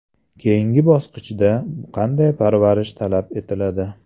Keyingi bosqichda qanday parvarish talab etiladi?